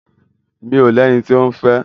Mi ò lẹni tí òún fẹ́.